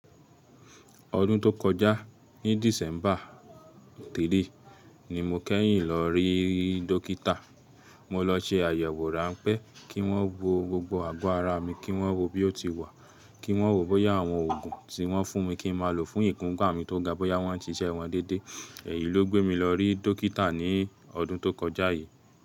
Ọdún tó kọjá ní December 3 ni mo keyin lọ rí dọ́kítà. Mo lo ṣe ayewo ranpe ki won wo gbogbo ago ara mi, ki won wo bi o ti wa, ki won wo bóyá awon oogun ti won fun mi kin ma lo fun ifunpa mi to ga, bóyá won n ṣi ṣe won dédé. Eyi lo gbe mi lo ri dokita ni odun to koja yii.